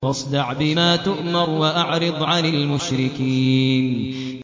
فَاصْدَعْ بِمَا تُؤْمَرُ وَأَعْرِضْ عَنِ الْمُشْرِكِينَ